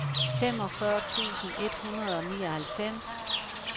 femogfyrre tusind et hundrede og nioghalvfems